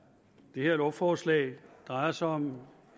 det her lovforslag drejer sig om